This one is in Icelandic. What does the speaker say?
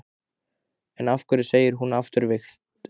En af hverju segir hún afturvirkt?